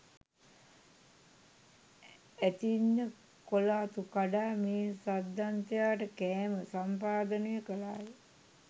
ඇතින්න කොළ අතු කඩා මේ සද්දන්තයාට කෑම සම්පාදනය කළාය.